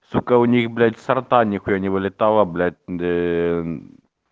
сука у них блять со рта нехуя не вылетало блять ээ